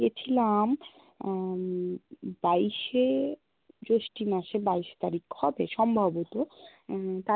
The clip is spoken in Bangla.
গেছিলাম আহ বাইস-এ জ্যৈষ্ঠ মাসে, বাইস তারিখ হবে সম্ভবত উম